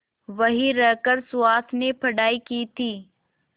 वहीं रहकर सुहास ने पढ़ाई की थी